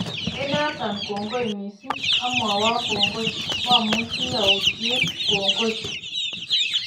Eng noto kongoi mising, amwaiwok kongoi, mamuchi hautye-kongoi.''